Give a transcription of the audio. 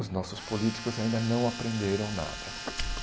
Os nossos políticos ainda não aprenderam nada.